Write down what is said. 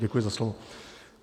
Děkuji za slovo.